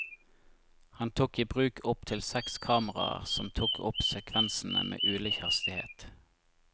Han tok i bruk opp til seks kameraer som tok opp sekvensene med ulik hastighet.